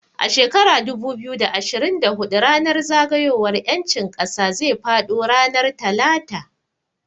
A shekara dubu biyu da ashirin da hudu ranar zagayowar samun ƴancin ƙasa zai faɗo ranar Talata